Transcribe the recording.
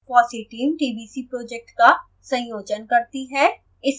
fossee team tbc project का संयोजन करती है